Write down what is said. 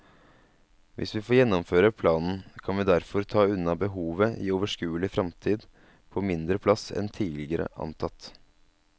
Hvis vi får gjennomføre planen, kan vi derfor ta unna behovet i overskuelig fremtid på mindre plass en tidligere antatt.